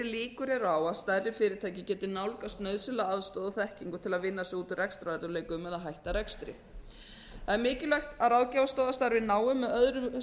líkur eru á að stærri fyrirtæki geti nálgast nauðsynlega aðstoð og þekkingu til að vinna sig út úr rekstrarörðugleikum eða hætta rekstri það er mikilvægt að ráðgjafarstofa starfi náið með öðru